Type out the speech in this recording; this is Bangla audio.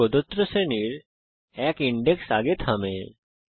এটা প্রদত্ত শ্রেণীর এক ইনডেক্স আগে থামে